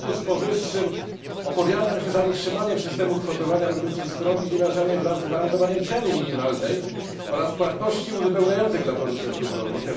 W związku z powyższym opowiadam się za utrzymaniem systemu kwotowania produkcji skrobi ziemniaczanej wraz z gwarantowaniem ceny minimalnej oraz płatności uzupełniających dla producentów rolnych.